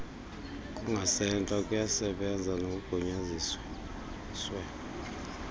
kungasentla kuyasebenza nakogunyaziswe